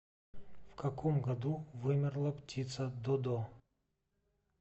в каком году вымерла птица додо